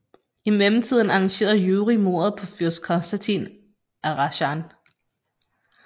I mellemtiden arrangerede Jurij mordet på fyrst Konstantin af Razjan